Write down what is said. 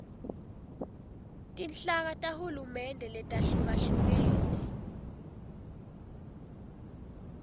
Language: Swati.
tinhlaka tahulumende letahlukahlukene